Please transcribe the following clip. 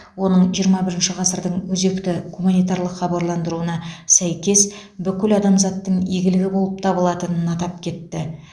оның жиырма бірінші ғасырдың өзекті гуманитарлық хабарландыруына сәйкес бүкіл адамзаттың игілігі болып табылатынын атап кетті